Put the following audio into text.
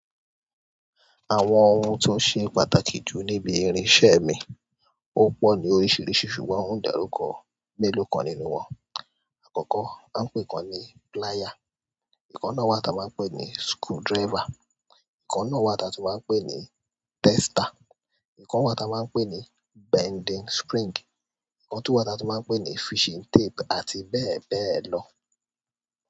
Àwọn ohun tó ṣe pàtàkì jù níbi irinṣẹ́ mi, ó pọ̀ ní oríṣiríṣi ṣùgbọ́n ó ń dàrúkọ mélòó kan nínú wọn. Àkọ́kọ́ à ń pè kan ní plier, ìkan náà wa ta máa ń pè ní screwdriver, ìkan náà wa ta tun máa ń pè ní tester, ìkan wa ta máa ń pè ní bending spring, ìkan tun wa ta tun máa ń pè ní fishing tape àti bẹ́ẹ̀ bẹ́ẹ̀ lọ.